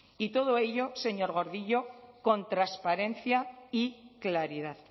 y todo ello señor gordillo con transparencia y claridad